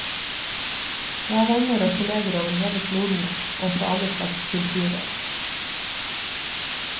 Jeg har venner og kolleger over hele kloden og fra alle slags kulturer.